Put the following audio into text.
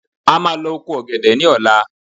A máa lọ oko ọ̀gẹ̀dẹ̀ ní ọ̀la